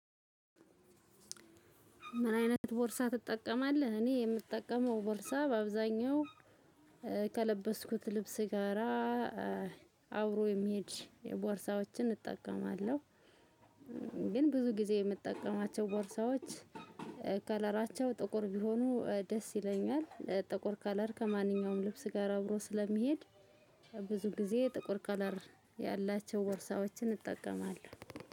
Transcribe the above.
ምን አይነት ቦርሳ ትጠቀማለህ? እኔ የምጠቀመው ቦርሳ በአብዛኛው ከለበስኩት ልብስ ጋራ አብሮ የሚሄድ የቦርሳዎችን እጠቀማለሁ። ግን ብዙ ጊዜ የምጠቀማቸው ቦርሳዎች ከለራቸው ጥቁር ቢሆኑ ደስ ይለኛል። ጥቁር ከለር ከማንኛውም ልብስ ጋር አብሮ ስለሚሄድ ብዙ ጊዜ ጥቁር ከለር ያላቸው ቦርሳዎችን እጠቀማለሁ።